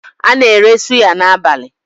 A na-ere suya n'abalị.